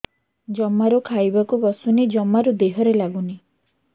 ଜମାରୁ ଖାଇବାକୁ ବସୁନି ଜମାରୁ ଦେହରେ ଲାଗୁନି